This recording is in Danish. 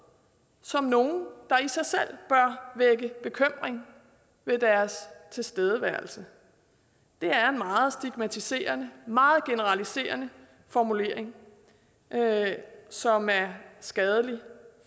som nogle der i sig selv bør vække bekymring ved deres tilstedeværelse det er en meget stigmatiserende meget generaliserende formulering som er skadelig